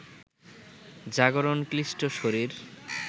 জাগরণ ক্লিষ্ট শরীর